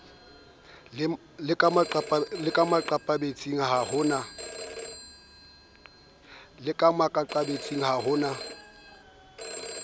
le makaqabetsing ha ho na